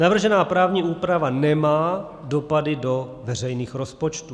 Navržená právní úprava nemá dopady do veřejných rozpočtů.